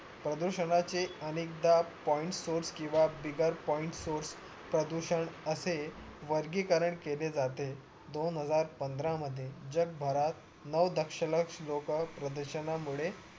प्रदूषणाचे अनेकदा point source किंवा बिगर point source प्रदूषण असे वर्गीकरण केले जाते दोन हजार पंधरा मध्ये जगभरात नऊ दंश लक्ष लोक प्रदूषणा मुळे